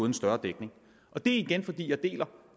en større dækning det er igen fordi jeg deler